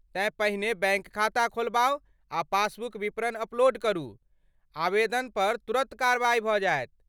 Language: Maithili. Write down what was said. तेँ पहिने बैङ्क खाता खोलबाउ आ पासबुक विवरण अपलोड करू, आवेदन पर तुरन्त कार्रवाई भऽ जायत।